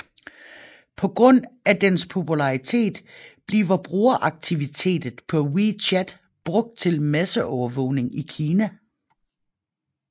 På grund af dens popularitet bliver brugeraktivitet på WeChat brugt til masseovervågning i Kina